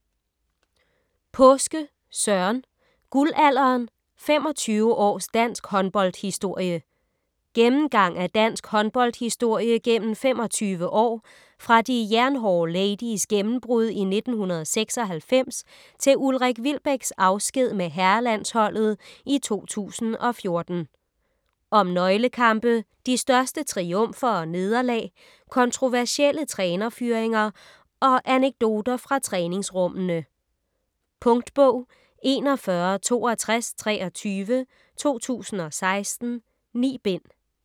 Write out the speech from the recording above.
Paaske, Søren: Guldalderen: 25 års dansk håndboldhistorie Gennemgang af dansk håndboldshistorie gennem 25 år, fra De Jernhårde Ladies' gennembrud i 1996 til Ulrik Wilbeks afsked med herrelandsholdet i 2014. Om nøglekampe, de største triumfer og nederlag, kontroversielle trænerfyringer og anekdoter fra træningsrummene. Punktbog 416223 2016. 9 bind.